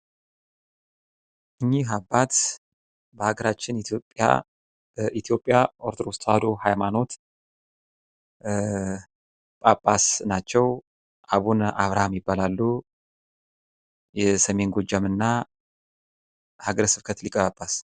እኚህ አባት በሃጋራችን ኢትዮጵያ ኦርቶዶክስ ተዋሕዶ ሃይማኖት ጳጳስ ናቸው ፤ አቡነ አብርሃም ይባላሉ ፤ የሰሜን ጎጃም እና ሀገረ ስብከት ሊቀ ጳጳስ።